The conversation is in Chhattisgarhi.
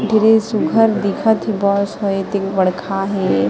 बड़े सुग्घर दिखत हे बस ह एति बड़कहा हे।